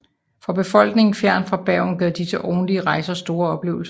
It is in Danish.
For befolkningen fjernt fra Bergen gav disse årlige rejser store oplevelser